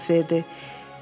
Roz cavab verdi.